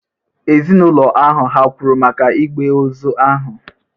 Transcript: Ezinụlọ ahụ hà kwụrụ maka igbe ozu ahụ?